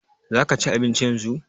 Za ka ci abinci yanzu?